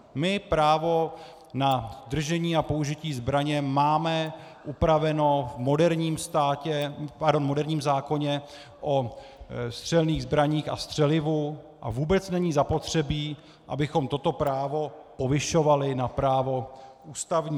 My právo na držení a použití zbraně máme upraveno v moderním zákoně o střelných zbraních a střelivu a vůbec není zapotřebí, abychom toto právo povyšovali na právo ústavní.